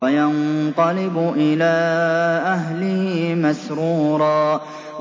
وَيَنقَلِبُ إِلَىٰ أَهْلِهِ مَسْرُورًا